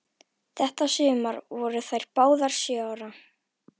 Þetta sumar voru þær báðar sjö ára.